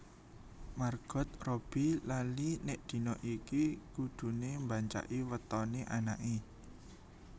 Margot Robbbie lali nek dina iki kudune mbancaki wetone anake